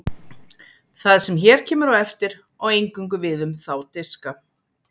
Það sem hér kemur á eftir á eingöngu við um þá diska.